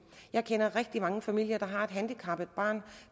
jeg kender rigtig mange familier der har et handicappet barn